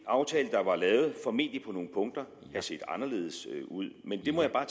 aftale der var lavet formentlig på nogle punkter have set anderledes ud men det må jeg bare